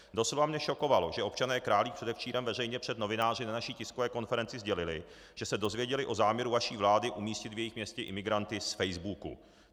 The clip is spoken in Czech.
Doslova mě šokovalo, že občané Králík předevčírem veřejně před novináři na naší tiskové konferenci sdělili, že se dozvěděli o záměru vaší vlády umístit v jejich městě imigranty z facebooku.